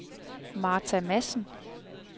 Martha Madsen